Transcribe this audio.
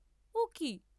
ও কি!